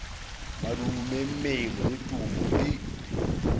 madume mmele le thumo di